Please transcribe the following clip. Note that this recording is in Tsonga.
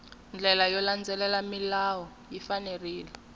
ndlela yo landzelela milawu ya